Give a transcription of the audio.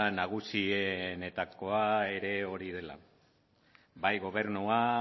nagusienetakoa ere hori dela bai gobernua